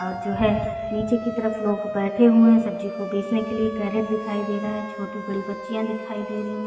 और जो है निचे की तरफ लोग बैठे हुए है सब्जी को बेचने के लिए कैरेट दिखाई दे छोटी बड़ी बच्चियां दिखाई दे रही है।